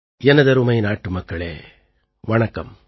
எனதருமை நாட்டுமக்களே வணக்கம்